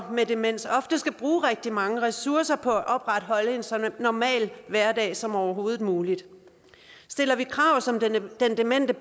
med demens oftest skal bruge rigtig mange ressourcer på at opretholde en så normal hverdag som overhovedet muligt stiller vi krav som den demente